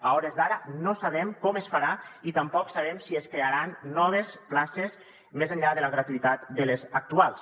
a hores d’ara no sabem com es farà i tampoc sabem si es crearan noves places més enllà de la gratuïtat de les actuals